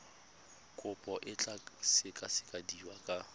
kopo e tla sekasekiwa ka